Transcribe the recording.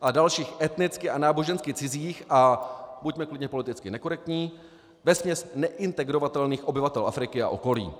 a dalších etnicky a nábožensky cizích, a buďme klidně politicky nekorektní, vesměs neintegrovatelných obyvatel Afriky a okolí.